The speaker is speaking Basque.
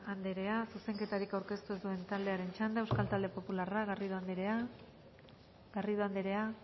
anderea zuzenketarik aurkeztu ez duen taldearen txanda euskal talde popularra garrido anderea zurea da